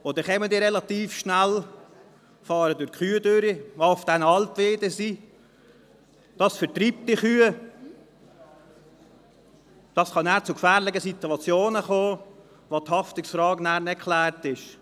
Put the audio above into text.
Und dann kommen sie relativ schnell, fahren durch die Kühe hindurch, die auf den Alpweiden sind, das vertreibt die Kühe, und so kann es zu gefährlichen Situationen kommen, bei denen die Haftungsfrage dann nicht geklärt ist.